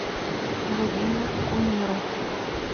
владимир кумеров